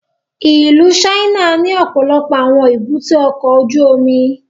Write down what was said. Ìlú China ni ọpọlọpọ awọn èbúté ọkọ ojú omi